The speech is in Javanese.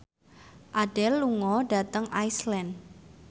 Adele lunga dhateng Iceland